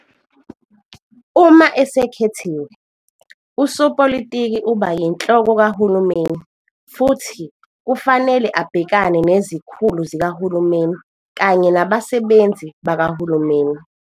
Uma esekhethiwe, usopolitiki uba yiNhloko kaHulumeni futhi kufanele abhekane nezikhulu zikahulumeni kanye nabasebenzi bakahulumeni.